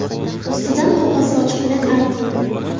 Ustidan qog‘oz sochiq bilan arting.